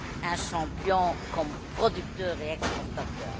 un champion comme producteur et exportateur.